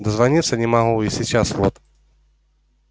дозвониться не могу и сейчас вот